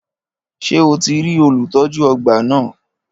Ṣé o ti rí olùtọ́jú ọgbà náà?